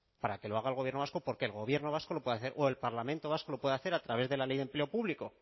para que lo haga el gobierno vasco porque el gobierno vasco lo pueda hacer o el parlamento vasco lo pueda hacer a través de la ley de empleo público